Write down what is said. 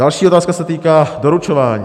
Další otázka se týká doručování.